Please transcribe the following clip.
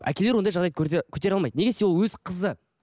әкелер ондай жағдайды көтере алмайды неге десе ол өз қызы